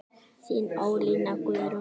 Þín Ólína Guðrún.